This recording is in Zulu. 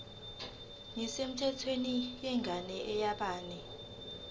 nesemthethweni yengane engeyabanye